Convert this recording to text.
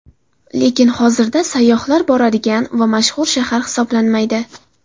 Lekin hozirda sayyohlar boradigan va mashhur shahar hisoblanmaydi.